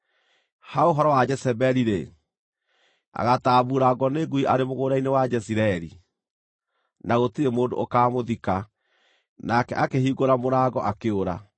Ha ũhoro wa Jezebeli-rĩ, agaatambuurangwo nĩ ngui arĩ mũgũnda-inĩ wa Jezireeli, na gũtirĩ mũndũ ũkaamũthika.’ ” Nake akĩhingũra mũrango akĩũra.